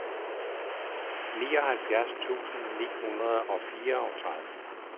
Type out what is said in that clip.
nioghalvfjerds tusind ni hundrede og fireogtredive